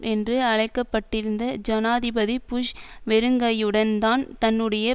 என்று அழைக்க பட்டிருந்த ஜனாதிபதி புஷ் வெறுங்கையுடன்தான் தன்னுடைய